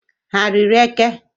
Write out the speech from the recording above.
Ha riri eke?